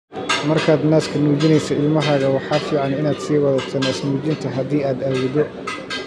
Markaad naaska nuujinayso ilmahaaga, waxa fiican inaad sii wadato naasnuujinta, haddii aad awooddo